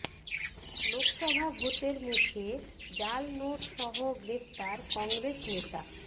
লোকসভা ভোটের মুখে জাল নোট সহ গ্রেফতার কংগ্রেস নেতা